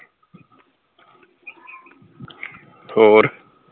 ਹੋਰ